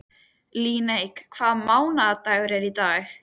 Líneik, hvaða mánaðardagur er í dag?